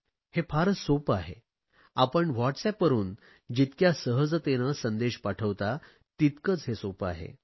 हे फारच सोपे आहे आपण व्हॉटसएपवरुन जितक्या सहजतेने संदेश पाठवता तितकेच हे सोपे आहे